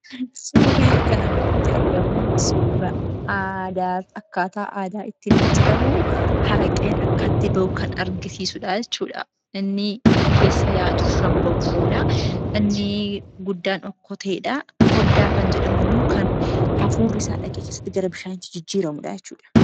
Suurri kana gaditti argamu, suura aadaa akkaataa aadaa ittiin hojjetamu, araqeen akkatti bahu kan argisiisuudha jechuudha. Inni keessa yaa'aa jiru shonboqqoodha. Inni guddaan okkoteedha. Koddaa kan jedhamu immoo kan hafuurri isaa dhaqee keessatti gara bishaaniitti jijjiiramuudha jechuudha.